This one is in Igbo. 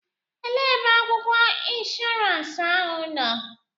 Elee ebe akwụkwọ inshọransi ahụ nọ?